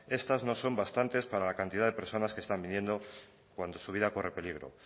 estas no son bastantes para la cantidad de personas que están viniendo cuando su vida corre peligro